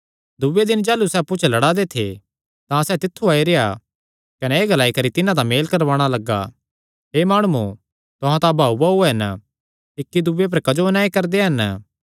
दूये दिने जाह़लू सैह़ अप्पु च लड़ा दे थे तां सैह़ तित्थु आई रेह्आ कने एह़ ग्लाई करी तिन्हां दा मेल करवाणा लग्गा हे माणुओ तुहां तां भाऊभाऊ हन इक्कीदूये पर क्जो अन्याय करदे हन